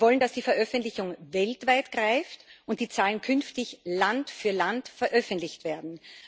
Wir wollen, dass die Veröffentlichung weltweit greift und die Zahlen künftig Land für Land veröffentlicht werden.